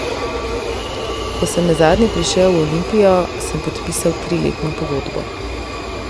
Ko sem nazadnje prišel v Olimpijo, sem podpisal triletno pogodbo.